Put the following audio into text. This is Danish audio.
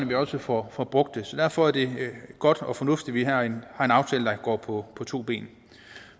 vi også får brugt det så derfor er det godt og fornuftigt at vi har en aftale der går på to ben